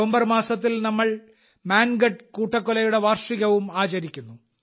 November മാസത്തിൽ നമ്മൾ മാൻഗഢ് കൂട്ടക്കൊലയുടെ വാർഷികവും ആചരിക്കുന്നു